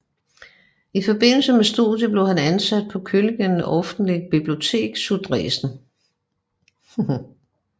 I forbindelse med studiet blev han ansat på Königlichen Öffentlichen Bibliothek zu Dresden